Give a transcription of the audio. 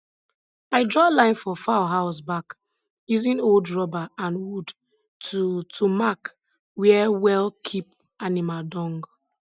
i draw line for fowl house back using old rubber and wood to to mark where well keep animal dung